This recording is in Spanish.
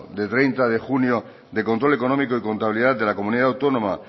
de treinta de junio de control económico y contabilidad de la comunidad autónoma